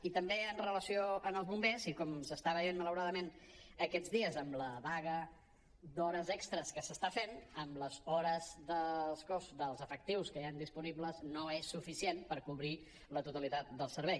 i també amb relació als bombers i com s’està veient malauradament aquests dies amb la vaga d’hores extres que s’està fent amb les hores dels efectius que hi han disponibles no és suficient per cobrir la totalitat del servei